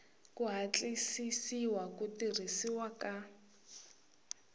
ku hatlisisa ku tirhisiwa ka